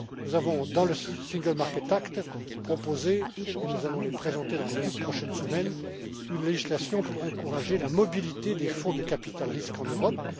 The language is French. Nous avons proposé, dans l'acte pour le marché unique, et nous allons la présenter dans les toutes prochaines semaines, une législation pour encourager la mobilité des fonds de capital risque en Europe.